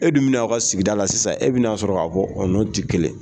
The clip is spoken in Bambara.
E dun min' aw ka sigida la sisan e bɛna'a sɔrɔ ka fɔ'o ne tɛ kelen